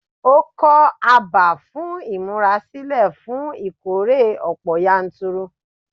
Ó kọ́ abà fún ìmúrasílẹ̀ fún ìkórè ọ̀pọ̀ yanturu.